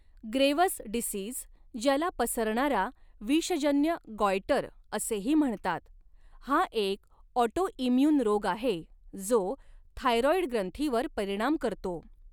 Graves disease, ज्याला पसरणारा विषजन्य गॉयटर असेही म्हणतात, हा एक ऑटोइम्यून रोग आहे जो थायरॉईड ग्रंथीवर परिणाम करतो.